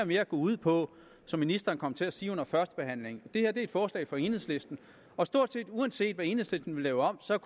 mere går ud på som ministeren kom til at sige under førstebehandlingen at det her er et forslag fra enhedslisten og stort set uanset hvad enhedslisten vil lave om så